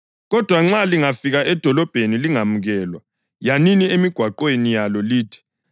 Kodwa nxa lingafika edolobheni lingemukelwa, yanini emigwaqweni yalo lithi,